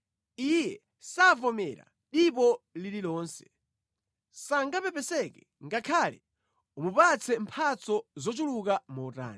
Iye savomera dipo lililonse; sangapepeseke ngakhale umupatse mphatso zochuluka motani.